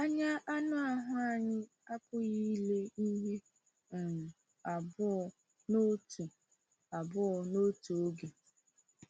Anya anụ ahụ anyị apụghị ile ihe um abụọ n’otu abụọ n’otu oge.